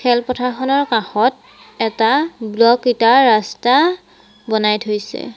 খেল পথাৰখনৰ কাষত এটা ব্লক ইটাৰ ৰাস্তা বনাই থৈছে।